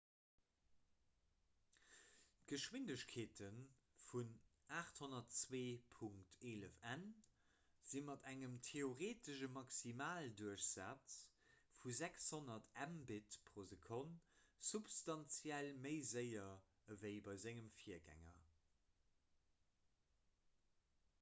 d'geschwindegkeete vun 802.11n si mat engem theoreetesche maximalduerchsaz vu 600 mbit/s substanziell méi séier ewéi bei sengem virgänger